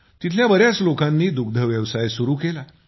तेथील बऱ्याच लोकांनी दुग्धव्यवसाय सुरु केला